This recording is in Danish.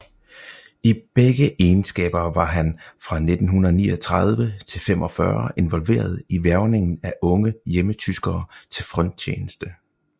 I begge egenskaber var han fra 1939 til 45 involveret i hvervningen af unge hjemmetyskere til fronttjeneste